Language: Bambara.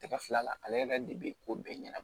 Tɛgɛ fila la ale yɛrɛ de bɛ ko bɛɛ ɲɛnabɔ